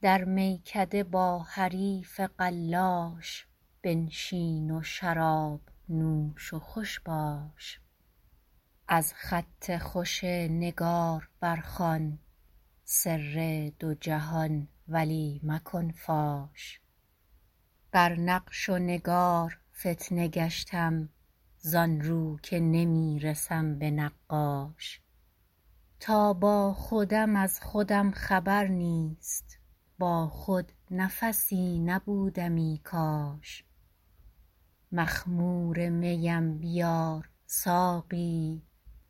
در میکده با حریف قلاش بنشین و شراب نوش و خوش باش از خط خوش نگار بر خوان سر دو جهان ولی مکن فاش بر نقش و نگار فتنه گشتم زان رو که نمی رسم به نقاش تا با خودم از خودم خبر نیست با خود نفسی نبودمی کاش مخمور میم بیار ساقی